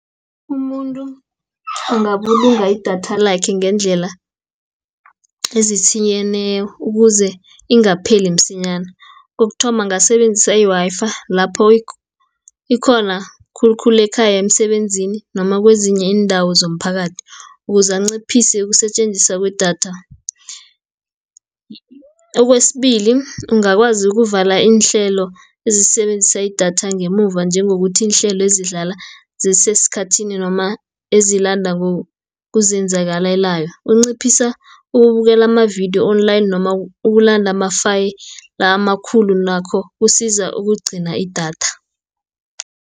Umuntu angabulunga idatha lakhe ngendlela ukuze ingapheli msinyana, kokuthoma ungasebenzisa i-Wi-Fi, lapho ikhona khulukhulu ekhaya, emsebenzini, noma kwezinye iindawo zomphakathi, ukuze anciphise ukusetjenziswa kwedatha. Okwesibili ungakwazi ukuvala iinhlelo ezisebenzisa idatha ngemuva, njengokuthi iinhlelo ezidlala zisesikhathini noma kuzenzakalelayo, ukunciphisa ukubukela amavidiyo Online, noma ukulanda amafayili la amakhulu nakho kusiza ukugcina idatha.